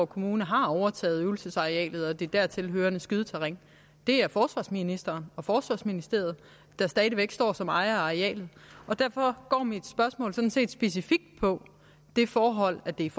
kommune har overtaget øvelsesarealet og det dertil hørende skydeterræn det er forsvarsministeren og forsvarsministeriet der stadig væk står som ejer af arealet derfor går mit spørgsmål specifikt på det forhold at det er